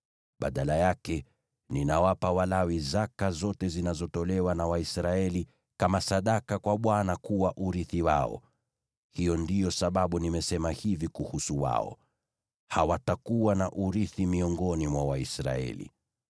Badala yake, ninawapa Walawi zaka zote zinazotolewa na Waisraeli kama sadaka kwa Bwana kuwa urithi wao. Hiyo ndiyo sababu nimesema hivi kuhusu wao: ‘Hawatakuwa na urithi miongoni mwa Waisraeli.’ ”